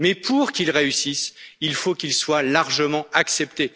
Mais pour qu'il réussisse, il faut qu'il soit largement accepté.